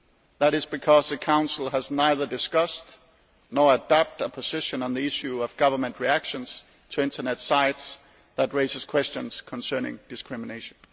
That is because the Council has neither discussed nor adopted a position on the issue of government reactions to Internet sites which raise questions concerning discrimination.